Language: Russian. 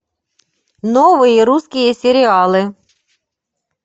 новые русские сериалы